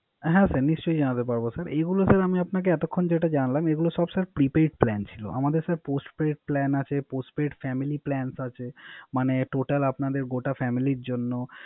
হ্যা নিশ্চই যানাতে পারবো স্যার, এগুলা এতক্ষন যেটা জানালাম Prepaid plan ছিল। আমদের Postpaid plan আছে। Postpaid family plan আছে। মানে Total আপাদের গোটা Family র জন্য